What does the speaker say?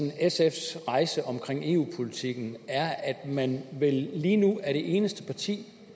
i sfs rejse omkring eu politikken er at man vel lige nu er det eneste parti